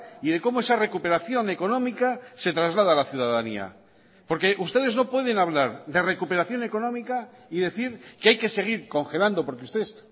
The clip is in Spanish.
y de cómo esa recuperación económica se traslada a la ciudadanía porque ustedes no pueden hablar de recuperación económica y decir que hay que seguir congelando porque ustedes